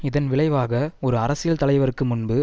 இதன் விளைவாக ஒரு அரசியல் தலைவருக்கு முன்பு